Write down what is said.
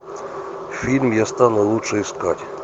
фильм я стану лучше искать